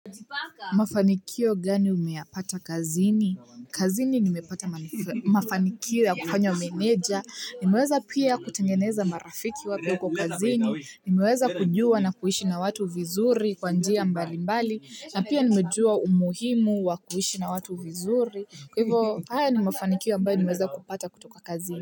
Mafanikio gani umeyapata kazini? Kazini nimepata mafanikio ya kufanywa meneja. Nimeweza pia kutengeneza marafiki wapya huko kazini. Nimeweza kujua na kuishi na watu vizuri kwa njia mbalimbali. Na pia nimejua umuhimu wa kuishi na watu vizuri. Kwa hivo haya ni mafanikio ambayo nimeweza kupata kutoka kazini.